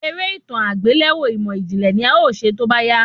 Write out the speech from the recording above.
Eré itan agbelẹrọ imọijinlẹ ni a ọ ṣe tóbá yá